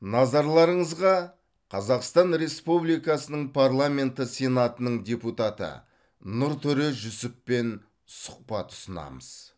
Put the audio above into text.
назарларыңызға қазақстан республикасының парламенті сенатының депутаты нұртөре жүсіппен сұхбат ұсынамыз